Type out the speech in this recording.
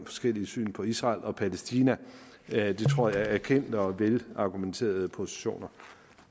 forskelligt syn på israel og palæstina det tror jeg er kendte og velargumenterede positioner